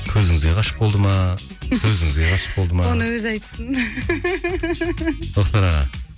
көзіңізге ғашық болды ма өзіңізге ғашық болды ма оны өзі айтсын тоқтар аға